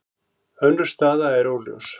Önnur staða er óljós.